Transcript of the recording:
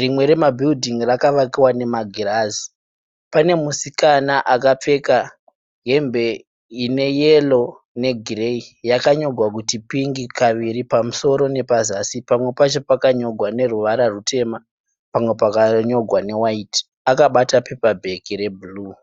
,rimwe remabhiridhingi rakavakiwa nemagirazi. Pane musikana akapfeka hembe ineyero ne gireyi yakanyorwa kuti pink kaviri pamusoro nepazasi pamwe pacho pakanyorwa neruvara rutema pamwe pakanyorwa newaiti akabata pepa bhegi rebhuruu.